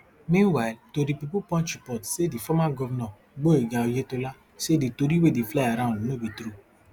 meanwhile tori pipo punch report say di former govnor gboyega oyetola say di tori wey dey fly around no be true